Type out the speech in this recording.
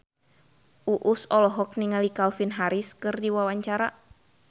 Uus olohok ningali Calvin Harris keur diwawancara